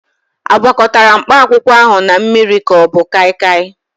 A gwakọtara mkpakwụkwọ ahụ na mmiri ka ọ bụ kaịkaị?